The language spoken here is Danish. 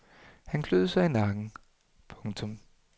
Han kløede sig i nakken. punktum